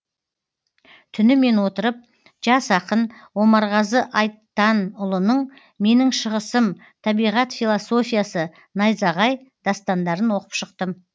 түнімен отырып жас ақын омарғазы айтанұлының менің шығысым табиғат философиясы найзағай дастандарын оқып шықтым